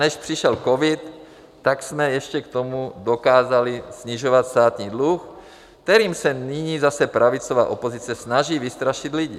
Než přišel covid, tak jsme ještě k tomu dokázali snižovat státní dluh, kterým se nyní zase pravicová opozice snaží vystrašit lidi.